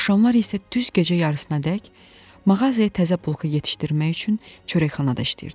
Axşamlar isə düz gecə yarısınadək mağazaya təzə bulka yetişdirmək üçün çörəkxanada işləyirdim.